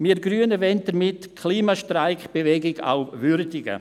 Wir Grüne wollen damit auch die KlimastreikBewegung würdigen.